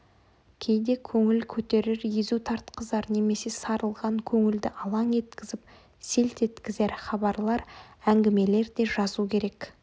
кейде көңіл көтерер езу тартқызар немесе сарылған көңілді алаң еткізіп селт еткізер хабарлар әңгімелер де жазу керек